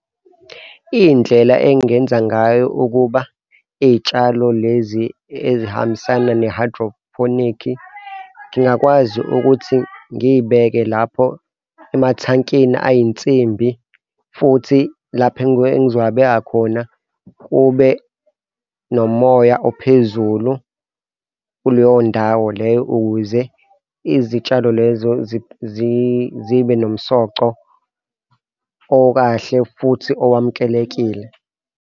Iy'ndlela engingenza ngayo ukuba iy'tshalo lezi ezihambisana ne-hydroponic ngingakwazi ukuthi ngiybeke lapho emathankini ayinsimbi futhi lapho engizowabeka khona kube nomoya ophezulu kuleyo ndawo leyo, ukuze izitshalo lezo zibe nomsoco okahle futhi owamukelekile.